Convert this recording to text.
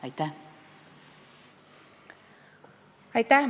Aitäh!